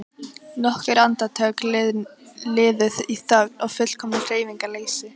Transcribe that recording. Nokkur andartök liðu í þögn og fullkomnu hreyfingarleysi.